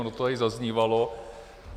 Ono to tady zaznívalo.